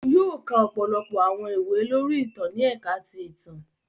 Òun yóò ka ọpọlọpọ awọn ìwé lori ìtàn ni ẹka ti ìtàn.